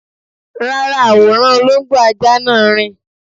Rárá, àwòrán olóńgbò ajá náà rìn